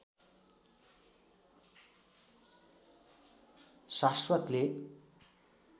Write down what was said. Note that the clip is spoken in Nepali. शाश्वतले